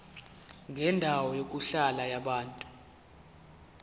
kwendawo yokuhlala yabantu